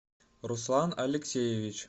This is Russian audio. руслан алексеевич